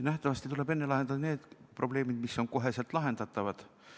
Nähtavasti tuleb enne lahendada need probleemid, mis on kohe lahendatavad.